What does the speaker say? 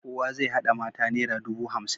Kowa zai haɗa mata nera dubu hamsin.